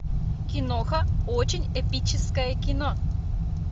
киноха очень эпическое кино